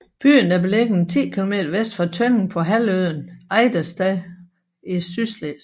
Byen er beliggende ti kilometer vest for Tønning på halvøen Ejdersted i Sydslesvig